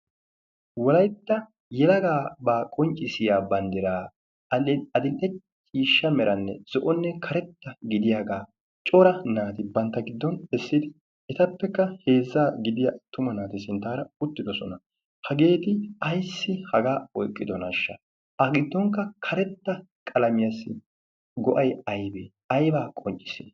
wolaytta yelagaa baa qonccisiya banddiraa adil"e ciishsha meranne zo'onne karetta gidiyaagaa cora naati bantta giddon essidi etappekka heezza gidiyaa tuma naati sinttaara uttidosona hageeti aissi hagaa oiqqidonashsha a giddonkka karetta qalamiyaassi go'ay aybee aybaa qonccis